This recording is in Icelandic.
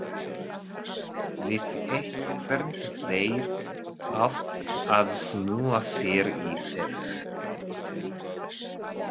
Vissu ekki hvernig þeir áttu að snúa sér í þessu.